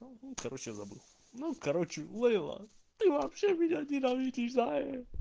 короче я забыл ну короче лейла ты вообще меня ненавидишь зая